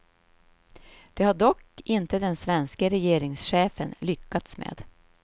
Det har dock inte den svenske regeringschefen lyckats med.